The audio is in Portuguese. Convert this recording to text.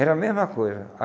Era a mesma coisa.